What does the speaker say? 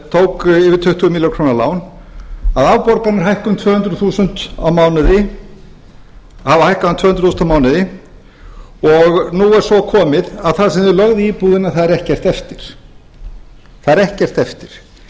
tók yfir tuttugu milljónir króna lán að afborganir hækka um tvö hundruð þúsund á mánuði og nú er svo komið að það sem þeir lögðu í íbúðina þar er ekkert eftir